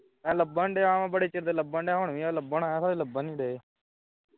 ਮੈਂ ਲੱਭਣ ਡਹਾਂ ਬੜੇ ਚਿਰ ਦਾ ਲੱਭਣ ਡਹਾਂ ਹਾਂ ਹੁਣ ਵੀ ਲੱਭਣ ਆਇਆ ਹਾਂ ਹੁਣ ਵੀ ਲੱਭਣ ਨਹੀਂ ਡਹੇ